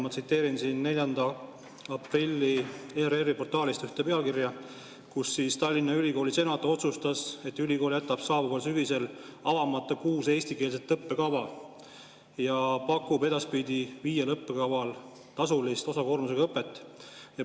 Ma tsiteerin siin 4. aprilli ERR‑i portaalist pealkirja, et Tallinna Ülikooli senat otsustas, et ülikool jätab saabuval sügisel avamata kuus eestikeelset õppekava ja pakub edaspidi viiel õppekaval tasulist osakoormusega õpet.